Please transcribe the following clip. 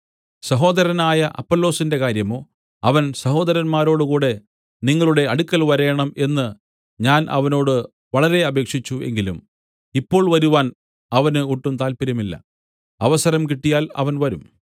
സഹോദരനായ അപ്പൊല്ലോസിന്റെ കാര്യമോ അവൻ സഹോദരന്മാരോടുകൂടെ നിങ്ങളുടെ അടുക്കൽ വരേണം എന്ന് ഞാൻ അവനോട് വളരെ അപേക്ഷിച്ചു എങ്കിലും ഇപ്പോൾ വരുവാൻ അവന് ഒട്ടും താല്പര്യമില്ല അവസരം കിട്ടിയാൽ അവൻ വരും